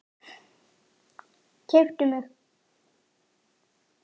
Keyptu mig?